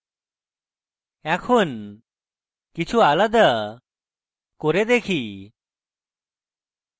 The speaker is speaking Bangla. এখন কিছু আলাদা করে দেখি